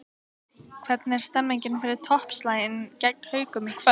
Hvernig er stemningin fyrir toppslaginn gegn Haukum í kvöld?